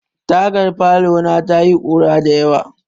Tagar falona ta yi ƙura dayawa.